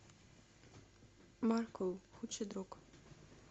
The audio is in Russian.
маркул худший друг